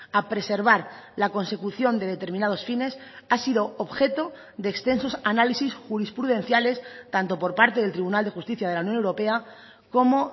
a preservar la consecución de determinados fines ha sido objeto de extensos análisis jurisprudenciales tanto por parte del tribunal de justicia de la unión europea como